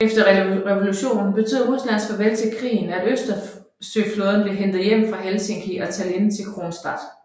Efter revolutionen betød Ruslands farvel til krigen at Østersøflåden blev hentet hjem fra Helsinki og Tallinn til Kronstadt